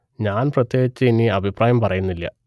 ഞാൻ പ്രത്യേകിച്ച് ഇനി അഭിപ്രായം പറയുന്നില്ല